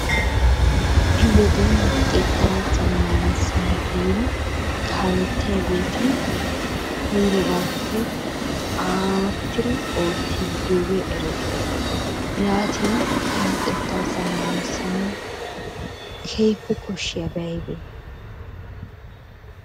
Ha'i woden xekkaa zammaanissana giidi kaalettiyageeti koyrogaappe aattidi oottiddi diyogee erettees. Yaatin he luxettaa zammaanissanawu keehippe koshshiyabay aybee?